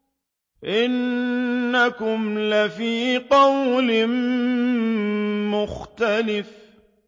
إِنَّكُمْ لَفِي قَوْلٍ مُّخْتَلِفٍ